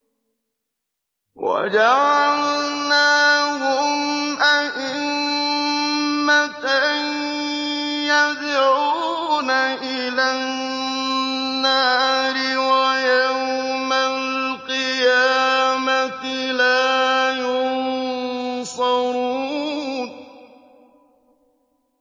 وَجَعَلْنَاهُمْ أَئِمَّةً يَدْعُونَ إِلَى النَّارِ ۖ وَيَوْمَ الْقِيَامَةِ لَا يُنصَرُونَ